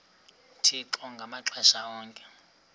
uthixo ngamaxesha onke